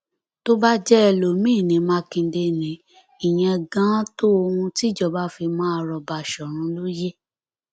bó bá jẹ ẹlòmín ní mákindé ní ìyẹn ganan tó ohun tíjọba fi máa rọ báṣọrun lóye